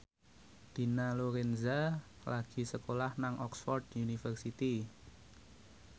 Dina Lorenza lagi sekolah nang Oxford university